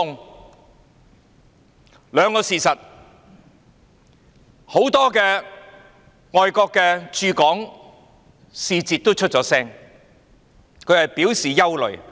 我們看到兩個事實，很多外國駐港使節已經發聲，表示感到憂慮。